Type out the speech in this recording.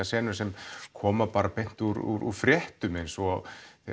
senur sem koma bara beint úr fréttum eins og